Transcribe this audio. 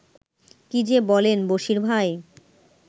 কী যে বলেন, বশীর ভাই